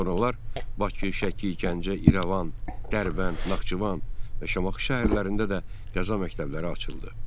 Sonralar Bakı, Şəki, Gəncə, İrəvan, Dərbənd, Naxçıvan və Şamaxı şəhərlərində də qəza məktəbləri açıldı.